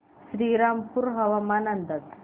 श्रीरामपूर हवामान अंदाज